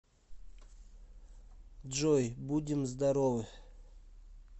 джой будем здоровы